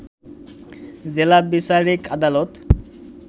জেলা বিচারিক আদালত